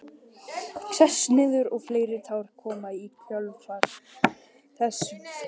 Sest niður og fleiri tár koma í kjölfar þess fyrsta.